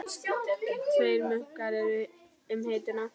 Tveir munkar eru um hituna